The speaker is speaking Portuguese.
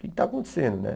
O que está acontecendo, né?